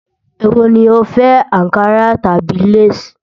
Èwò ni o fẹ́: Ànkarà tàbí lace?